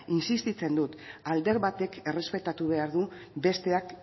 insistitzen dut alde batek errespetatu behar du besteak